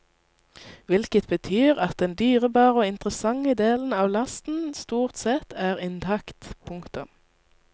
Hvilket betyr at den dyrebare og interessante del av lasten stort sett er intakt. punktum